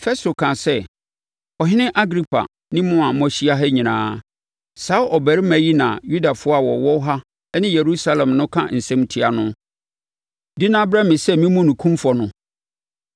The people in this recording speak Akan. Festo kaa sɛ, “Ɔhene Agripa ne mo a moahyia ha nyinaa, saa ɔbarima yi na Yudafoɔ a wɔwɔ ha ne Yerusalem no aka nsɛm atia no, de no abrɛ me sɛ memmu no kumfɔ no,